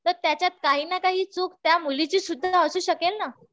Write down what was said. तर त्याच्यात काही ना काही चूक त्या मुलीची सुद्धा पण असू शकेल ना.